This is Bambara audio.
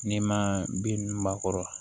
N'i ma bin ninnu ba kɔrɔ